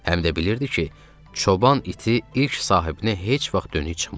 Həm də bilirdi ki, çoban iti ilk sahibinə heç vaxt dönük çıxmaz.